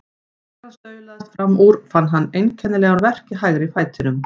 Þegar hann staulaðist fram úr fann hann einkennilegan verk í hægri fætinum.